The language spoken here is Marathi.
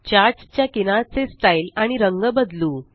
चार्ट्स च्या किनार चे स्टाइल आणि रंग बदलू